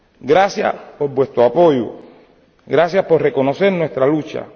Gracias por su apoyo, gracias por reconocer nuestra lucha.